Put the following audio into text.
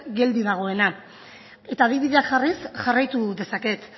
geldi dagoena adibideak jarriz jarraitu dezaket